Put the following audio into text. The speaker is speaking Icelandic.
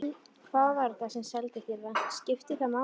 Hver var þetta sem seldi þér það? Skiptir það máli?